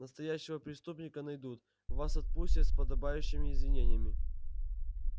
настоящего преступника найдут вас отпустят с подобающими извинениями